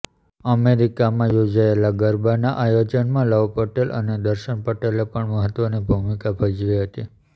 અમેરિકામાં યોજાયેલા ગરબાના આયોજનમાં લવ પટેલ અને દર્શન પટેલે પણ મહત્વની ભૂમિકા ભજવી હતી